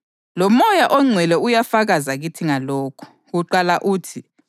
ngoba ngomhlatshelo owodwa usephelelise nini lanini labo abenziwayo ukuba ngcwele.